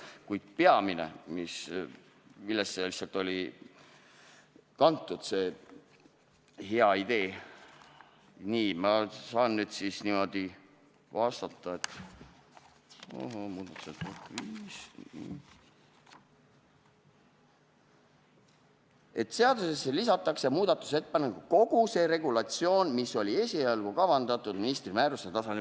Kuid peamine, millest see hea idee oli kantud – selle kohta saan ma vastata niimoodi, et seadusesse lisatakse muudatusettepanekuna kogu see regulatsioon, mis oli esialgu kavandatud ministri määruse tasandil.